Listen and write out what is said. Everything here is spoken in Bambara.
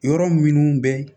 Yɔrɔ minnu bɛ